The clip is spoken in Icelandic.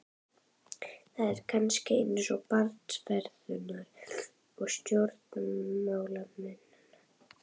Það er kannski eins með barnsfeðurna og stjórnmálamennina.